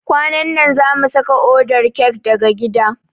Kwanan na zamu saka odar kek daga gida.